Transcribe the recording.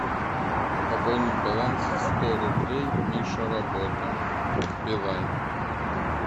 пополнить баланс сто рублей миша работа билайн